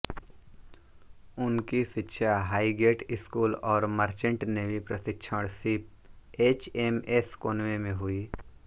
उनकी शिक्षा Highgate school और मर्चेण्ट नेवी प्रशिक्षण शिप एचएमएस कोनवे में हुई